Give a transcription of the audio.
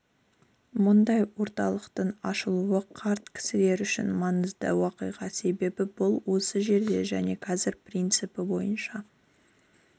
мұндай орталықтың ашылуы қарт кісілер үшін маңызды уақиға себебі бұл осы жерде және қазір принципі бойынша